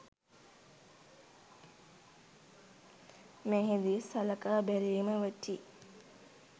මෙහි දී සලකා බැලීම වටී.